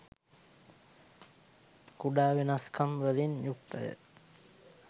කුඩා වෙනස්කම් වලින් යුක්තය.